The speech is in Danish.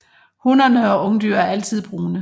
Hunnerne og ungdyr er altid brune